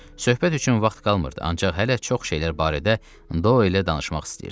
Söhbət üçün vaxt qalmırdı, ancaq hələ çox şeylər barədə Doylə danışmaq istəyirdi.